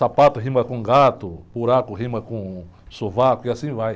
Sapato rima com gato, buraco rima com sovaco e assim vai.